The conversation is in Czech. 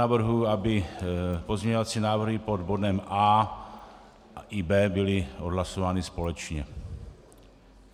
Navrhuji, aby pozměňovací návrhy pod bodem A i B byly odhlasovány společně.